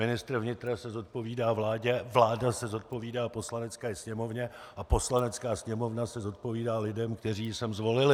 Ministr vnitra se zodpovídá vládě, vláda se zodpovídá Poslanecké sněmovně a Poslanecká sněmovna se zodpovídá lidem, kteří ji sem zvolili.